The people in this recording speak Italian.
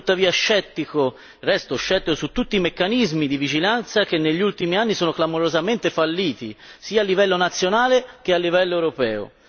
Resto tuttavia scettico riguardo a tutti i meccanismi di vigilanza che negli ultimi anni sono clamorosamente falliti sia a livello nazionale sia a livello europeo.